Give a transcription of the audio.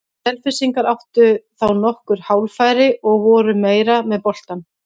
Selfyssingar áttu þá nokkur hálffæri og voru meira með boltann.